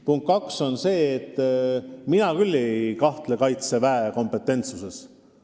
Punkt kaks on see, et mina küll ei kahtle Kaitseväe kompetentsuses.